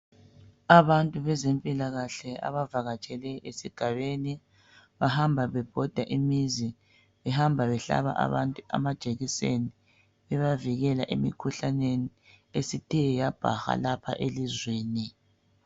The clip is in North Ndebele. Abantu bezempilakahle abavakatshele esigabeni bahamba bebhoda imizi behamba behlaba abantu amajekiseni bebavikela emikhuhlaneni esithe yabhaha lapha elizweni .